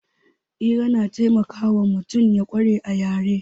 Hira na taimakawa mutum ya ƙware a yare